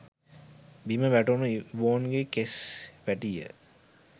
බිම වැටුණු ඉවෝන්ගේ කෙස් වැටිය